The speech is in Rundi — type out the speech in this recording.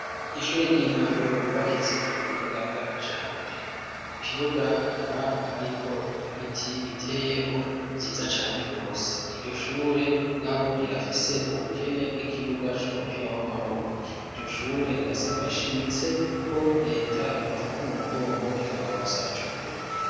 Ishure ry'intango ryubakitse ku buhinga bwa kijambere. Ku kibuga hakaba hariho ibiti biteyeho vyiza cane rwose. Iryo shure mugabo rirafise ubukene bw'ikibuga c'umupira w'amaboko. Iryo shure rirasaba rishimitse ko leta yobafata mu mugongo ikabarosa ico kibuga.